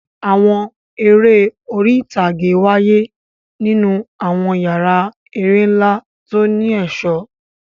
Àwọn eré orí ìtàgé wáyé nínú àwọn yàrá eré ńlá tó ní ẹ̀ṣọ́.